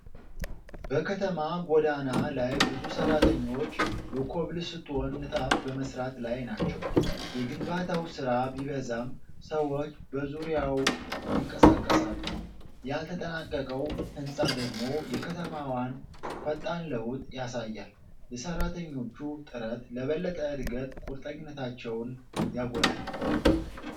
በከተማ ጎዳና ላይ ብዙ ሠራተኞች የኮብልስቶን ንጣፍ በመሥራት ላይ ናቸው። የግንባታው ሥራ ቢበዛም፣ ሰዎች በዙሪያው ይንቀሳቀሳሉ፤ ያልተጠናቀቀው ሕንጻ ደግሞ የከተማዋን ፈጣን ለውጥ ያሳያል። የሠራተኞቹ ጥረት ለበለጠ ዕድገት ቁርጠኝነታቸውን ያጎላል።